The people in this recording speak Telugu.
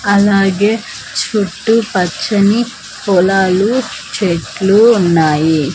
అలాగే చుట్టుపచ్చని పొలాలు చెట్లు ఉన్నాయి.